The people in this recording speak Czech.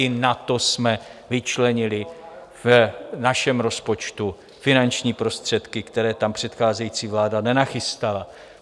I na to jsme vyčlenili v našem rozpočtu finanční prostředky, které tam předcházející vláda nenachystala.